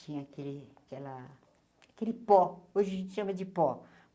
Tinha aquele aquela aquele pó, hoje a gente chama de pó.